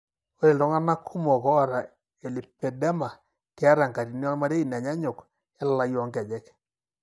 Ore iltung'anak kumok oata elipedema keeta enkatini ormarei nanyaanyuk elalai oonkejek.